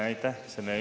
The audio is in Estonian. Aitäh!